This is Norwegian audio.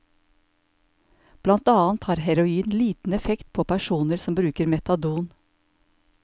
Blant annet har heroin liten effekt på personer som bruker metadon.